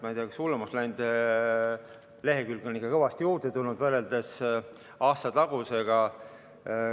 Ma ei tea, kas on hullemaks läinud, lehekülgi on ikka kõvasti juurde tulnud, võrreldes aastatagusega.